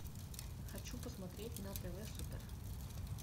хочу посмотреть на тв супер